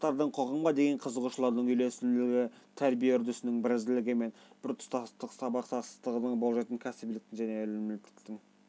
жастардың қоғамға деген қызығушылығының үйлесімділігі тәрбие үрдісінің бірізділігі мен біртұтас сабақтастығын болжайтын кәсібиліктің және әлеуметтіліктің